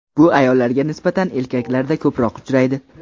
Bu ayollarga nisbatan erkaklarda ko‘proq uchraydi.